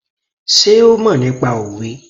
Sé ó mọ̀ nípa òwe?